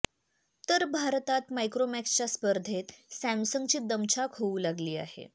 तर भारतात मायक्रोमॅक्सच्या स्पर्धेत सॅमसंगची दमछाक होऊ लागली आहे